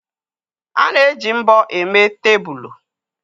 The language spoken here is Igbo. A na-eji mbọ eme tebụl.